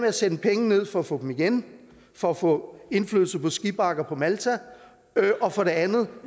at sende penge ned for at få dem igen for at få indflydelse på skibakker på malta og for det andet